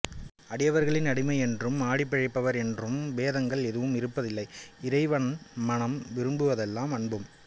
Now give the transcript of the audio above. அடியவர்களில் அடிமையென்றும் ஆடிப்பிழைப்பவர் என்றும் பேதங்கள் ஏதும் இருப்பதில்லை இறைவன் மனம் விரும்புவதெல்லாம் அன்பும்